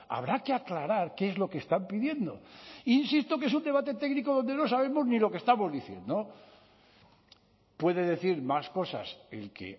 habrá que aclarar qué es lo que están pidiendo insisto que es un debate técnico donde no sabemos ni lo que estamos diciendo puede decir más cosas el que